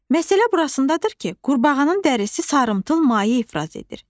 Məsələ burasındadır ki, qurbağanın dərisi sarımtıl maye ifraz edir.